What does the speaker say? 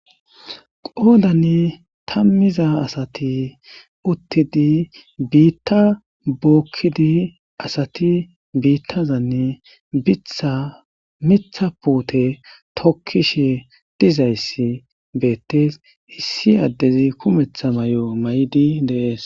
qodanni tammiza asati uttidi biitta bokkidi assati biittazanne biththa miiththa puute tokkishshe dizayssi bettees issi addezi kumeththa may'o may'idi dees